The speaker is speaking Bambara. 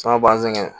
An ka bangɛ